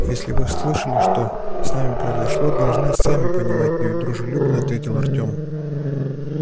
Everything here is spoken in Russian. если вы слышали что с нами произошло должны сами понимать недружелюбно ответил артем